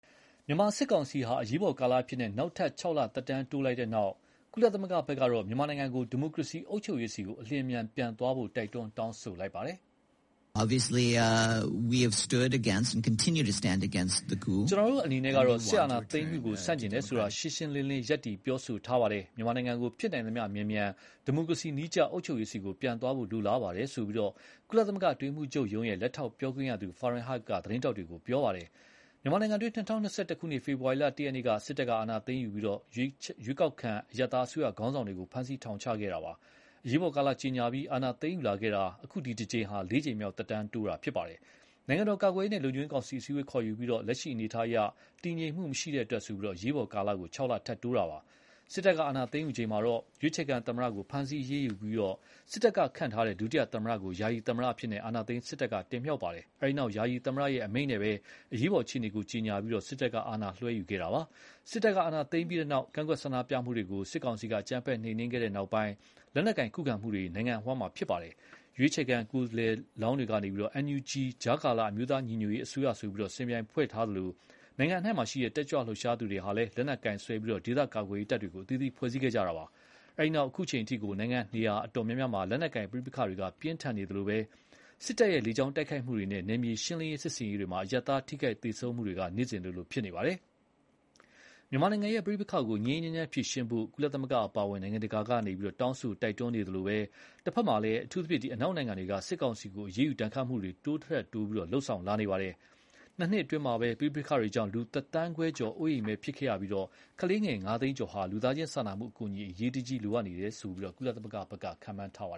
မြန်မာစစ်ကောင်စီဟာ အရေးပေါ်ကာလအဖြစ် နောက်ထပ် ၆ လသက်တမ်းတိုးလိုက်တဲ့နောက် အခုလို စစ်အုပ်ချုပ်မှု သက်တမ်းတိုးတဲ့အပေါ် ကုလသမဂ္ဂရော အမေရိကန်ပြည်ထောင်စုဖက်ကပါ စိုးရိမ်တကြီးတုံ့ပြန်ခဲ့ပါတယ်။ “ ကျနော်တို့အနေနဲ့ကတော့ စစ်အာဏာသိမ်းမှုကို ဆန့်ကျင်တယ်ဆိုတာ ရှင်းရှင်းလင်းလင်း ရပ်တည်ပြောဆိုထားပါတယ်။ မြန်မာနိုင်ငံကို ဖြစ်နိုင်သမျှ မြန်မြန် ဒီမိုကရေစီနည်းကျအုပ်ချုပ်ရေးပြန်သွားဖို့ လိုလားပါတယ်။” လို့ ကုလသမဂ္ဂ အတွင်းရေးမှူးချုပ်ရုံး လက်ထောက်ပြောခွင့်ရသူ Farhan Haq က သတင်းထောက်တွေကို ပြောပါတယ်။ မြန်မာနိုင်ငံတွင်း ၂၀၂၁ ခုနှစ် ဖေဖော်ဝါရီလ ၁ ရက်နေ့မှာ စစ်တပ်ကအာဏာသိမ်းယူပြီး ရွေးချယ်ခံအရပ်သားအစိုးရခေါင်းဆောင်တွေကို ဖမ်းဆီးထောင်ချခဲ့တာပါ။ အရေးပေါ်ကာလ ကြေညာပြီး အာဏာသိမ်းယူလာခဲ့တာ အခု ဒီတကြိမ်ဟာ လေးကြိမ်မြောက်သက်တမ်းတိုးတာဖြစ်ပါတယ်။ နိုင်ငံတော် ကာကွယ်ရေးနဲ့လုံခြုံရေးကောင်စီ အစည်းအဝေးခေါ်ယူပြီး လက်ရှိနိုင်ငံအနေအထားအရ တည်ငြိမ်မှုမရှိတဲ့အတွက်ဆိုပြီး အရေးပေါ်ကာလ ၆ လ ထပ်တိုးခဲ့တာပါ။ စစ်တပ်ကအာဏာသိမ်းယူချိန်မှာတော့ ရွေးချယ်ခံသမ္မတကို ဖမ်းဆီးအရေးယူပြီး စစ်တပ်ကခန့်ထားတဲ့ ဒုသမ္မတကို ယာယီသမ္မတအဖြစ် အာဏာသိမ်းစစ်တပ်က တင်မြှောက်ခဲ့ပါတယ်။ အဲဒီနောက် ယာယီသမ္မတအမိန့်နဲ့ပဲ အရေးပေါ် အခြေအနေကိုကြေညာပြီး စစ်တပ်ကအာဏာလွှဲယူထားတာပါ။ စစ်တပ်က အာဏာသိမ်းပြီးတဲ့နောက် ကန့်ကွက်ဆန္ဒပြမှုတွေကို စစ်ကောင်စီက အကြမ်းဖက်နှိမ်နင်းခဲ့တဲ့နောက် လက်နက်ကိုင်ခုခံမှုတွေ နိုင်ငံအဝှမ်းဖြစ်ခဲ့ပါတယ်။ ရွေးချယ်ခံလွှတ်တော်ကိုယ်စားလှယ်တွေက NUG ကြားကာလ အမျိုးသားညီညွတ်ရေးအစိုးရဆိုပြီး စင်ပြိုင်ဖွဲ့စည်းထားသလို နိုင်ငံအနှံ့က တက်ကြွလှုပ်ရှားသူတွေဟာ လက်နက်ကိုင်စွဲပြီး ဒေသကာကွယ်ရေးတပ်တွေ အသီးသီးဖွဲ့စည်းခဲ့ကြပါတယ်။ အဲဒီနောက် အခုအချိန်အထိ နိုင်ငံနေရာအတော်များများမှာ လက်နက်ကိုင်ပဋိပက္ခတွေက ပြင်းထန်နေသလို စစ်တပ်ရဲ့ လေကြောင်းတိုက်ခိုက်မှုတွေနဲ့ နယ်မြေရှင်းလင်းရေးစစ်ဆင်ရေးတွေမှာ အရပ်သား ထိခိုက်သေဆုံးမှုတွေ နေ့စဉ်လိုလို ဖြစ်နေပါတယ်။ မြန်မာနိုင်ငံကပဋိပက္ခကို ငြိမ်းငြိမ်းချမ်းချမ်းဖြေရှင်းဖို့ ကုလသမဂ္ဂအပါအဝင်နိုင်ငံတကာက တောင်းဆိုတိုက်တွန်းနေသလို တဖက်မှာလည်း အထူးသဖြင့် အနောက်နိုင်ငံတွေက စစ်ကောင်စီကို အရေးယူဒဏ်ခတ်မှုတွေ တိုးသထက် တိုး လုပ်ဆောင်လာနေပါတယ်။ နှစ်နှစ်အတွင်း ပဋိပက္ခတွေကြောင့် လူ တသန်းခွဲကျော် အိုးအိမ်မဲ့ဖြစ်ကြရပြီး ကလေးငယ် ငါးသိန်းကျော်ဟာ လူသားချင်းစာနာမှုအကူအညီ အရေးတကြီးလိုအပ်နေတယ်လို့ ကုလသမဂ္ဂက ခန့်မှန်းထားပါ